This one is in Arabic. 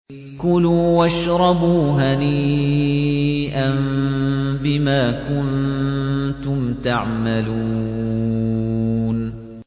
كُلُوا وَاشْرَبُوا هَنِيئًا بِمَا كُنتُمْ تَعْمَلُونَ